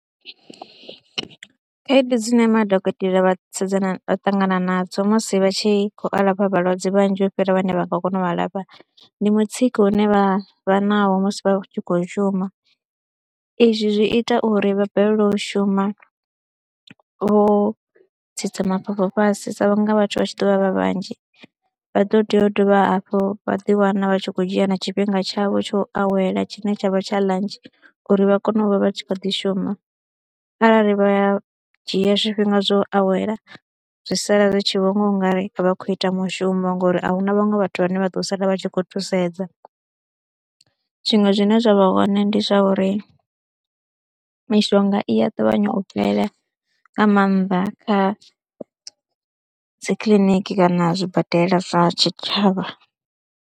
Khaedu dzine madokotela vha sedzana vha ṱangana nadzo musi vha tshi khou alafha vhalwadze vhanzhi u fhira vhane vha nga kona u a lafha ndi mutsiko une vha vha naho musi vha tshi khou shuma, izwi zwi ita uri vha balelwe u shuma vho tsitsa mafhafhu fhasi sa vhunga vhathu vha tshi ḓo vha vha vhanzhi. Vha ḓo tea u dovha hafhu vha ḓiwana vha tshi khou dzhia na tshifhinga tshavho tsho u awela tshine tshavha tsha ḽantshi uri vha kone u vha vha tshi kha ḓi shuma arali vha dzhia zwifhinga zwo awela zwi sala ri tshi vho nga u nga ri a vha khou ita mushumo ngori ahu na vhaṅwe vhathu vhane vha ḓo sala vha tshi khou thusedza. Zwiṅwe zwine zwa vha hone ndi zwa uri mishonga i a ṱavhanya u fhela nga maanḓa kha dzi kiḽiniki kana zwibadela zwa tshitshavha.